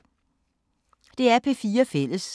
DR P4 Fælles